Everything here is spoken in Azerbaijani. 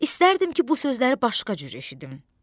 İstərdim ki, bu sözləri başqa cür eşidim.